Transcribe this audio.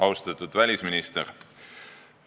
Austatud välisminister!